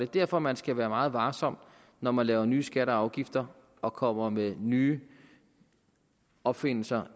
derfor man skal være meget varsom når man laver nye skatter og afgifter og kommer med nye opfindelser